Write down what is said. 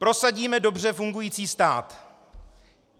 Prosadíme dobře fungující stát.